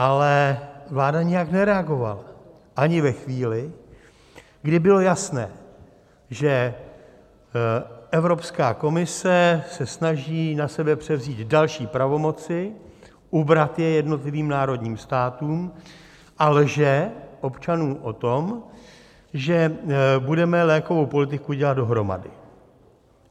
Ale vláda nijak nereagovala, ani ve chvíli, kdy bylo jasné, že Evropská komise se snaží na sebe převzít další pravomoci, ubrat je jednotlivým národním státům, a lže občanům o tom, že budeme lékovou politiku dělat dohromady.